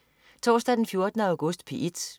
Torsdag den 14. august - P1: